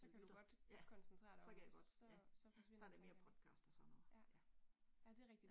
Ja, så kan jeg godt. Ja ja. Så er det mere podcast og sådan noget, ja